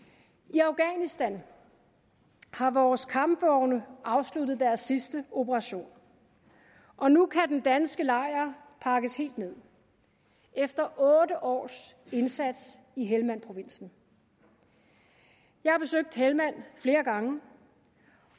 i afghanistan har vores kampvogne afsluttet deres sidste operation og nu kan den danske lejr pakkes helt ned efter otte års indsats i helmandprovinsen jeg har besøgt helmand flere gange